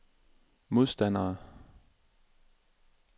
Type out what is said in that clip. modstandere